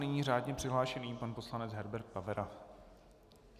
Nyní řádně přihlášený pan poslanec Herbert Pavera.